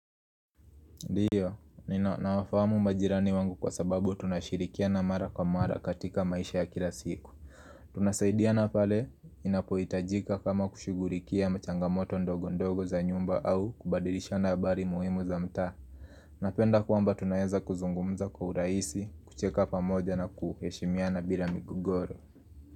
Ndio, ninawafamu majirani wangu kwa sababu tunashirikia na mara kwa mara katika maisha ya kila siku. Tunasaidia na pale inapoitajika kama kushugulikia machangamoto ndogo ndogo za nyumba au kubadilisha habari muhimu za mta. Napenda kuamba tunayaza kuzungumza kwa uraisi, kucheka pamoja na kuheshimia na bila migogoro.